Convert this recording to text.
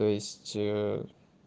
то есть